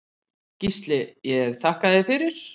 Gísli ég þakka þér fyrir.